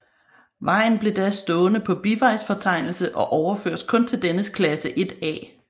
Vejen blev da stående på bivejsfortegnelse og overføres kun til dennes klasse 1 A